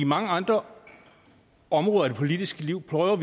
mange andre områder i det politiske liv prøver